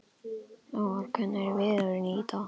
Lár, hvernig er veðrið í dag?